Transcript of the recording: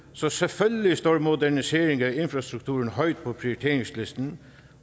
så selvfølgelig står moderniseringer og infrastruktur højt på prioriteringslisten